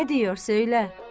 Nə diyor, söylə!